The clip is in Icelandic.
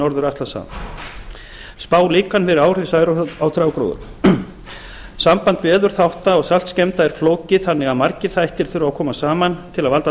norður atlantshaf spálíkan fyrir áhrif særoks á trjágróður samband veðurþátta og saltskemmda er flókið þannig að margir þættir þurfa að koma saman til að